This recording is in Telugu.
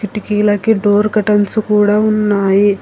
కిటికీలకు డోర్ కటన్స్ కూడా ఉన్నాయి.